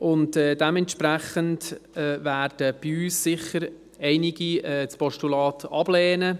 Dementsprechend werden bei uns sicher einige das Postulat ablehnen.